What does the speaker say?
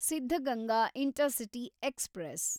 Siddaganga intercity express